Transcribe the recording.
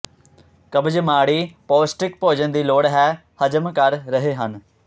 ਕਬਜ਼ ਮਾੜੀ ਪੌਸ਼ਟਿਕ ਭੋਜਨ ਦੀ ਲੋੜ ਹੈ ਹਜਮ ਕਰ ਰਹੇ ਹਨ